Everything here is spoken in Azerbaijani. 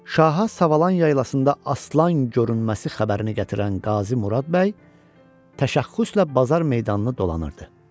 Şaha Savalan yaylasında aslan görünməsi xəbərini gətirən Qazi Murad bəy, təşəxxüslə bazar meydanını dolanırdı.